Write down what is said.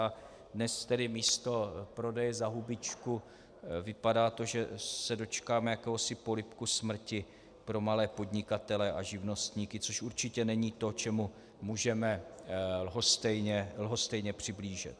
A dnes tedy místo prodeje za hubičku to vypadá, že se dočkáme jakéhosi polibku smrti pro malé podnikatele a živnostníky, což určitě není to, čemu můžeme lhostejně přihlížet.